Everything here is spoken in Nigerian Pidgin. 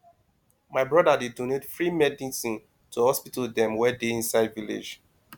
my broda dey donate free medicine to hospital dem wey dey inside village